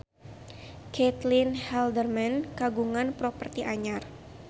Caitlin Halderman kagungan properti anyar